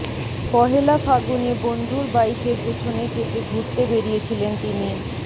পহেলা ফাগুনে বন্ধুর বাইকের পেছনে চেপে ঘুরতে বেরিয়েছিলেন তিনি